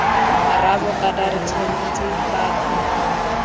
rraabo kana re tshwentse batho